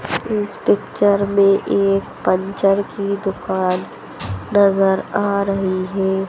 इस पिक्चर में एक पंचर की दुकान नजर आ रही है।